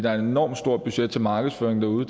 er et enormt stort budget til markedsføringer derude